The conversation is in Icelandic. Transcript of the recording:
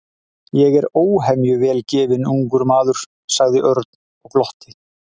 Ég er óhemju vel gefinn ungur maður sagði Örn og glotti.